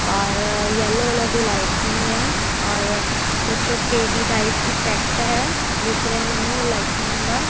ਔਰ yellow colour ਦੀ lightning ਏ ਔਰ ਕੁਛ ਔਰ ਥਰੀ ਡੀ ਟਾਈਪ ਇਫੈਕਟ ਹੈ ਦਿੱਸ ਰਿਹਾ ਮੈਨੂੰ ਲਾਈਟਨਿੰਗ ਦਾ।